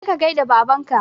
Kaje ka gaida babanka